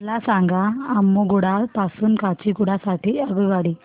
मला सांगा अम्मुगुडा पासून काचीगुडा साठी आगगाडी